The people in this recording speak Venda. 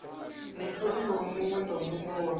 mutholiwa muṋwe na muṋwe wa